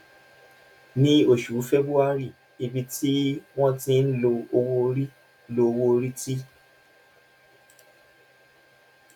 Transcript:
ní oṣù february ibi tí wọn ti ń lo owó orí lo owó orí ti